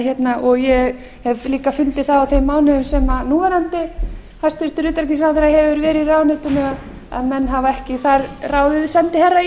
og veru ég hef líka fundið það á þeim mánuðum sem núverandi hæstvirtum utanríkisráðherra hefur verið í ráðuneytinu að menn hafa ekki þar ráðið sendiherra í